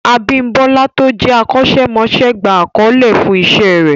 Abímbọ́lá tó jẹ́ akọ́ṣẹ́mọṣẹ́ gba àkọlé fún Iṣẹ́ rẹ̀